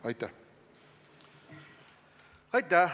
Aitäh!